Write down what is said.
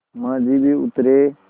माँझी भी उतरे